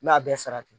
N m'a bɛɛ sara ten